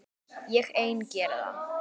Ég ein geri það.